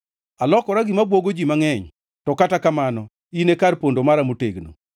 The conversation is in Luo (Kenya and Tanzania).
Alokora gima bwogo ji mangʼeny to kata kamano in e kar pondo mara motegno.